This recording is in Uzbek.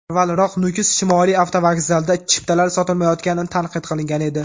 Avvalroq, Nukus shimoliy avtovokzalida chiptalar sotilmayotgani tanqid qilingan edi.